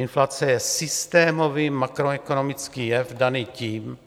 Inflace je systémový makroekonomický jev daný tím,